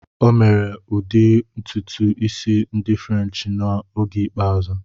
O mere ụdị ntutu isi ndị Furenchi na oge ikpeazụ.